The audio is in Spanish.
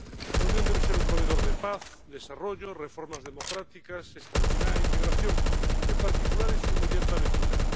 La Unión debe ser un proveedor de paz, desarrollo, reformas democráticas, estabilidad e integración, en particular en su inmediata vecindad.